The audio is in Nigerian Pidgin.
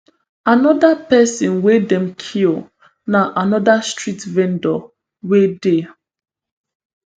anoda pesin wey dem kill na anoda street vendor wey dey